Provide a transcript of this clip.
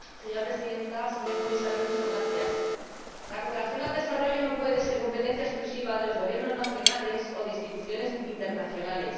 Señora Presidenta, señor Comisario, la cooperación al desarrollo no puede ser competencia exclusiva de los gobiernos nacionales o de instituciones internacionales.